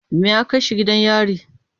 Me ya kai shi gidan yari?